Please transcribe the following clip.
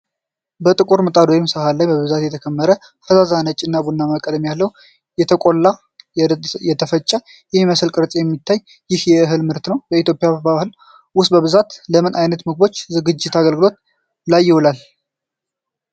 በጥቁር ምጣድ ወይም ሰሃን ላይ በብዛት የተከመረ፣ ፈዛዛ ነጭና ቡናማ ቀለም ያለው፣ የተቆላና የተፈጨ በሚመስል ቅርፅ የሚታየው ይህ የእህል ምርት ነው። በኢትዮጵያ ባህል ውስጥ በብዛት ለምን አይነት ምግቦች ዝግጅት አገልግሎት ላይ ይውላል?